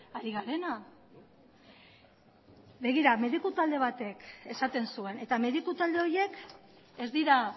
ari garena begira mediku talde batek esaten zuen eta mediku talde horiek ez dira